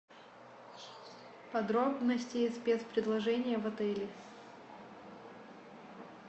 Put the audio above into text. подробности и спецпредложения в отеле